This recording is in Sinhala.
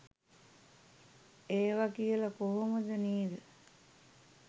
ඒව කියල කොහොමද නේද